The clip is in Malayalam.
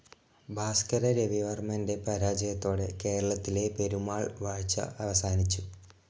ഭാസ്കര രവിവർമ്മന്റെ പരാജയത്തോടെ കേരളത്തിലെ പെരുമാൾ വാഴ്ച അവസാനിച്ചു.